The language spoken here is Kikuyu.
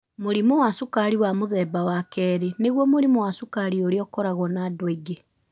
Mũrimũ wa Cukari wa Mũthemba wa Kerĩ: Nĩguo mũrimũ wa cukari ũrĩa ũkoragwo na andũ aingĩ.